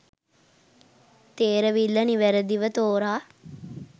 තේරවිල්ල නිවැරදිව තෝරා